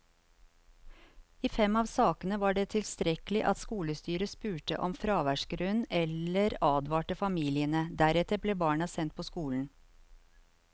I fem av sakene var det tilstrekkelig at skolestyret spurte om fraværsgrunn eller advarte familiene, deretter ble barna sendt på skolen.